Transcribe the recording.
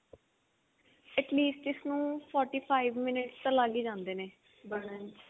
at least ਇਸਨੂੰ forty five minutes ਤਾਂ ਲੱਗ ਜਾਂਦੇ ਨੇ ਬਣਨ ਚ